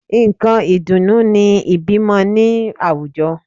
Nǹkan ìdùnnú ni ìbímọ ní àwùjọ